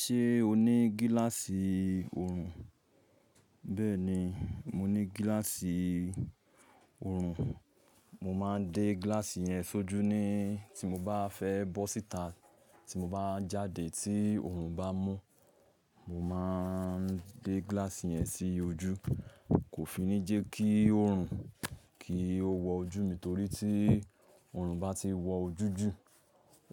Ṣé o ní gíláàsì oorun? Bẹ́ẹ̀ni, mo ní gíláàsì oorun. Mo máa ń dé gíláàsì yẹn sójú ní tí mo bá fẹ́ bọ́ síta, tí mo bá jáde tí oorun bá mú, mo máa ń dé gíláàsì yẹn sí ojú. Kò fi ní jẹ́ kí oorun kí ó wọ ojú mi torí tí oorun bá ti wọ ojú jù,